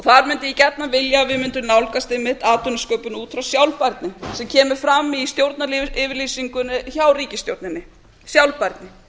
þar mundi ég gjarnan vilja að við mundum nálgast einmitt atvinnusköpun út frá sjálfbærni sem kemur fram í stjórnaryfirlýsingunni hjá ríkisstjórninni sjálfbærni